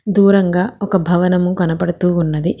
దూరంగా ఒక భవనము కనబడుతూ ఉన్నది.